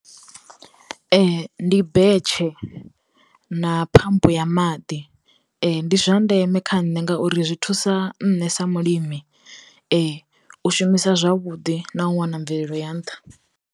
Ndi betshe na phamp ya maḓi, ndi zwa ndeme kha nṋe ngauri zwi thusa nṋe sa mulimi u shumisa zwavhuḓi na u wana mvelelo ya nṱha.